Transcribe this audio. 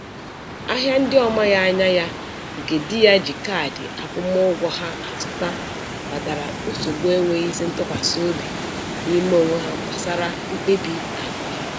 Ahịa ndị ọ maghị anya ya, nke di ya ji kaadị akwụmụụgwọ ha azụta kpatara nsogbu enwezighị ntụkwasiobi n'ime onwe ha gbasara mkpebi akụ ha.